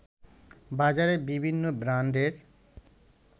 বাজারে বিভিন্ন ব্রান্ডের